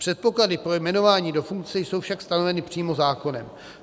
Předpoklady pro jmenování do funkce jsou však stanoveny přímo zákonem.